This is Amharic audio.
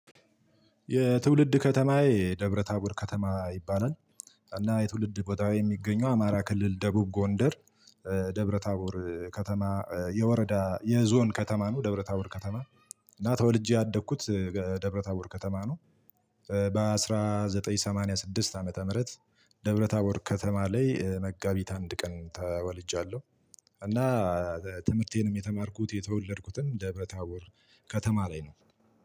የትውልድ ከተማዬ ደብረ ታቦር ከተማ ይባላል። እና የትውልድ ቦታው የሚገኘው አማራ ክልል ደቡብ ጎንደር። ደብረ ታቦር ከተማ የወረዳ የዞን ከተማ ነው። ደብረ ታቦር ከተማ። እና ተወልጄ ያደግኩት ደብረ ታቦር ከተማ ነው። በአንድ ሺህ ዘጠኝ መቶ ሰማንያ ስድስት ዓመተ ምህረት። ደብረ ታቦር ከተማ ላይ መጋቢት አንድ ቀን ተወልጃለሁ። እና ትምህርቴንም የተማርኩት የተወለድኩትም ደብረ ታቦር ከተማ ላይ ነው።